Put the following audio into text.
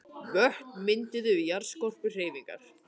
Vötn mynduð við jarðskorpuhreyfingar.